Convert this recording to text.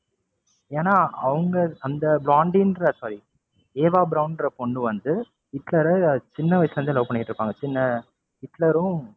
ஏன்னா அவங்க அந்த sorry ஈவா பிரௌன்ற பொண்ணு வந்து ஹிட்லர சின்ன வயசுல இருந்தே love பண்ணிட்டு இருப்பாங்க சின்ன ஹிட்லரும்,